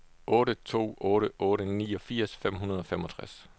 otte to otte otte niogfirs fem hundrede og femogtres